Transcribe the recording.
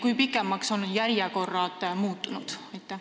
Kui palju pikemaks on järjekorrad muutunud?